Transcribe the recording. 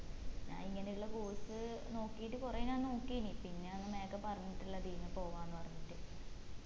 ഞാൻ ഇങ്ങനെയുള്ള course നോക്കിയിട്ട് കൊറേ ഞാൻ നോക്കിന് പിന്നെ അന്ന് മേഘ പറഞ്ഞിട്ടില്ലത് ഈന്ന് പറഞ്ഞിട്ട്